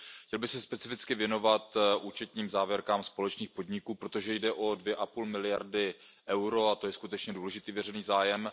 Chtěl bych se specificky věnovat účetním závěrkám společných podniků, protože jde o 2,5 miliardy EUR, a to je skutečně důležitý veřejný zájem.